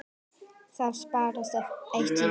Það sparast eitt í.